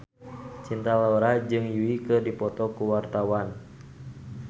Cinta Laura jeung Yui keur dipoto ku wartawan